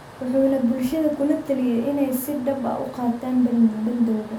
Wuxuuna bulshada kula taliyay inay si dhab ah u qaataan bandowga.